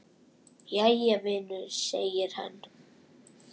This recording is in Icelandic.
Jæja, vinur segir hann.